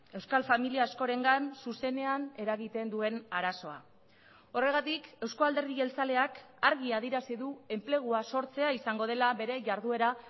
euskal familia askorengan zuzenean eragiten duen arazoa horregatik euzko alderdi jeltzaleak argi adierazi du enplegua sortzea izango dela bere jarduera